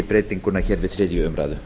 breytinguna hér við þriðju umræðu